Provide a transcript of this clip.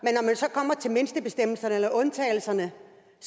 kommer til mindstebestemmelserne eller undtagelserne